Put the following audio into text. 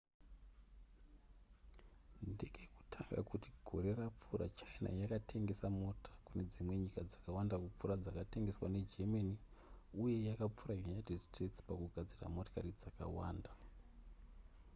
ndekekutanga kuti gore rapfuura china yakatengesa mota kune dzimwe nyika dzakawanda kupfuura dzakatengeswa negermany uye yakapfuura united states pakugadzira mota dzakawanda